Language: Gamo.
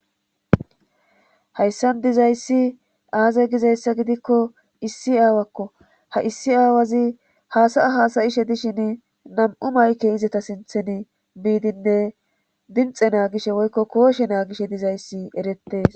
hayssan dizayssi aaze gizayssa gidikko issi aawakko ha issi aawazi haasaya haasayishe dishin nam7u mayke izata sinthen biidinne dinxe naagishe woykko kooshe naagishe dizayssi erettees